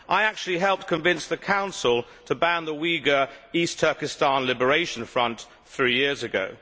I actually helped convince the Council to ban the Uighur East Turkestan Liberation Front three years ago.